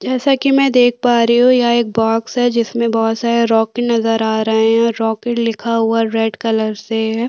जैसा कि मै देख पा रही हूं यहां एक बॉक्स है जिसमें बहोत सारे रॉकेट नज़र आ रहे हैं रॉकेट लिखा हुआ रेड कलर से है।